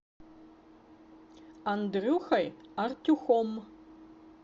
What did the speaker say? андрюхой артюхом